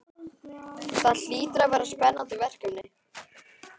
Það hlýtur að vera spennandi verkefni?